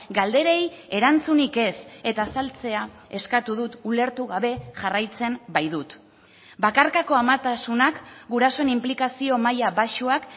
galderei erantzunik ez eta azaltzea eskatu dut ulertu gabe jarraitzen baitut bakarkako amatasunak gurasoen inplikazio maila baxuak